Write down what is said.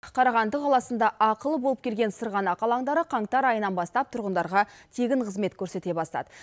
қарағанды қаласында ақылы болып келген сырғанақ алаңдары қаңтар айынан бастап тұрғындарға тегін қызмет көрсете бастады